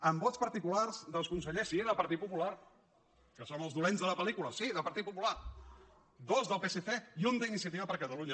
amb vots particulars dels consellers sí del partit popular que som els dolents de la pel·lícula sí del partit popular dos del psc i un d’iniciativa per catalunya